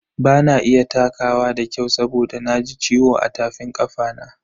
Bana iya takawa da kyau saboda na ji ciwo a tafin kafana.